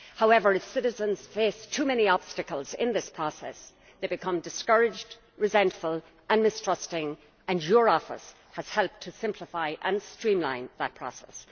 However, if citizens face too many obstacles in this process they become discouraged, resentful and mistrusting and your office has helped to simplify and streamline that process.